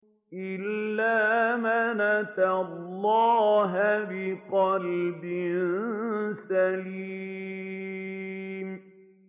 إِلَّا مَنْ أَتَى اللَّهَ بِقَلْبٍ سَلِيمٍ